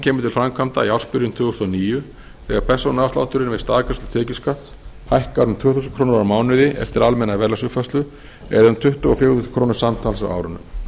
kemur til framkvæmda í ársbyrjun tvö þúsund og níu þegar persónuafslátturinn við staðgreiðslu tekjuskatts hækkar um tvö þúsund krónur á mánuði eftir almenna verðlagsuppfærslu eða um tuttugu og fjögur þúsund krónur samtals á árinu